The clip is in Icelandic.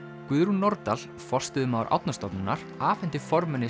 Guðrún Nordal forstöðumaður Árnastofnunar afhenti formanni